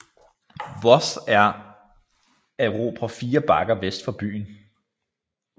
Worth at erobre 4 bakker vest for byen